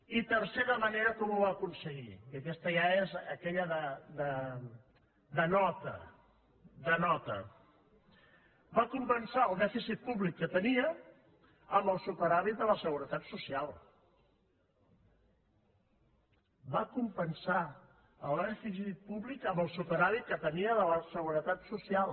i tercera manera com ho va aconseguir i aquesta ja és aquella de nota de nota va compensar el dèficit públic que tenia amb el superàvit de la seguretat social va compensar el dèficit públic amb el superàvit que tenia de la seguretat social